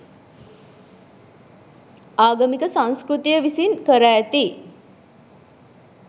ආගමික සංස්කෘතිය විසින් කර ඇති